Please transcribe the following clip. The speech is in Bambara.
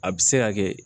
A bɛ se ka kɛ